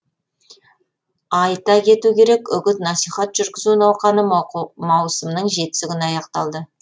айта кету керек үгіт насихат жүргізу науқаны маусымның жетісі күні аяқталды